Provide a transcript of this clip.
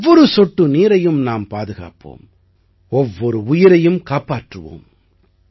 ஒவ்வொரு சொட்டு நீரையும் நாம் பாதுகாப்போம் ஒவ்வொரு உயிரையும் காப்பாற்றுவோம்